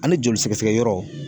Ani joli sɛgɛsɛgɛ yɔrɔ.